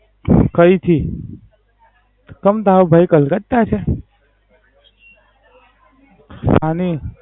કૈથી? કેમ ટેરો ભાઈ કલકત્તા છે?